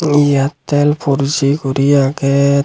airtel four g gori aage.